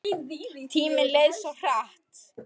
Tíminn leið svo hratt.